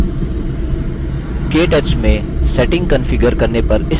केटच में settings configure करने पर इस spoken tutorial में आपका स्वागत है